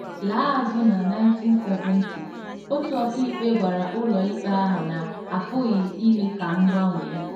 Laa azụ na 1970, otu ọkàikpe gwara ụlọikpe ahụ na a pụghị ime ka m gbanwee.